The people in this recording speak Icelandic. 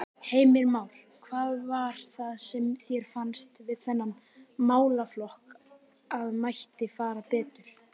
Heimir Már: Hvað var það sem þér fannst við þennan málaflokk að mætti fara betur?